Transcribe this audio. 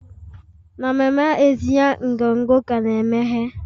Na mama etinye nkwonkwo ka na-emeghe?